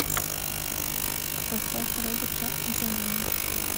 поставь роберта оганяна